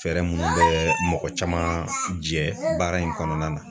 Fɛɛrɛ minnu bɛ mɔgɔ caman jɛ baara in kɔnɔna na